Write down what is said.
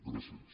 gràcies